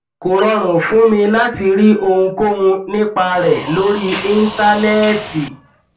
kò rọrùn fún mi láti rí ohunkóhun nípa rẹ lórí íńtánẹẹtì